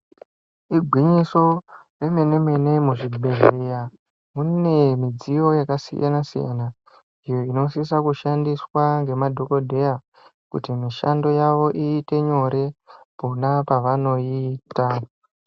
Igwinyiso remene-mene muzvibhedhleya mune midziyo yakasiyana-siyana. Iyo inosisa kushandiswa ngemadhogodheya kuti mishando yavo iite nyore pona pavanoiita.